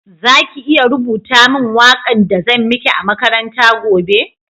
Za ki iya rubuta min waka'n da zan mike a'makaranta gobe?